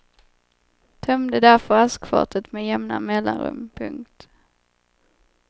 Tömde därför askfatet med jämna mellanrum. punkt